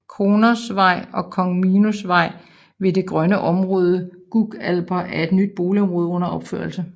Kronosvej og Kong Minos Vej ved det grønne område Gug Alper er et nyt boligområde under opførelse